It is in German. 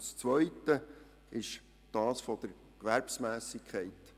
Das zweite betrifft die Gewerbsmässigkeit.